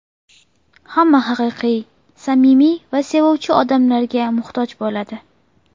Hamma haqiqiy, samimiy va sevuvchi odamlarga muhtoj bo‘ladi.